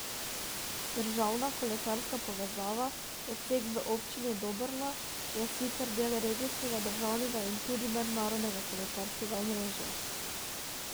Državna kolesarska povezava, odsek v Občini Dobrna, je sicer del regijskega, državnega in tudi mednarodnega kolesarskega omrežja.